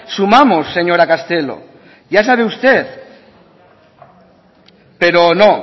sumamos señora castelo ya sabe usted pero no